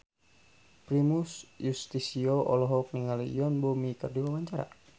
Primus Yustisio olohok ningali Yoon Bomi keur diwawancara